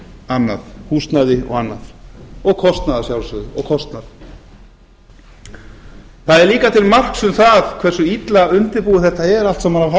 annað og kostnað að sjálfsögðu það er líka til marks um hve illa undirbúið þetta er allt saman af